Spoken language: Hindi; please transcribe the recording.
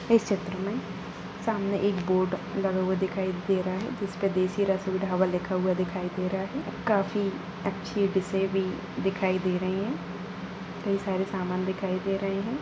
इस चित्र में सामने एक बोर्ड लगा हुआ दिखाई दे रहा है जिसपे देशी रसोई ढाबा लिखा हुआ दिखाई दे रहा है| काफी अच्छी डिशें भी दिखाई दे रही है कई सारे सामान दिखाई दे रहे हैं।